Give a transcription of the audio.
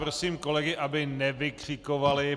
Prosím kolegy, aby nevykřikovali.